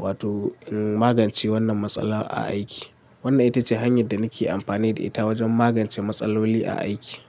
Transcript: wato in magance wannan matsala a aiki. Wannan ita ce hanyar da nake amfani da ita wajen magance matsaloli a aiki.